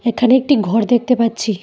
এখানে একটি ঘর দেখতে পাচ্ছি।